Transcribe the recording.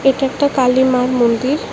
এটা একটা কালীমার মন্দির।